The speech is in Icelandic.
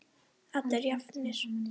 Allir jafnir.